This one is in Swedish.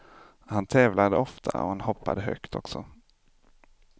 Han tävlade ofta och han hoppade högt också.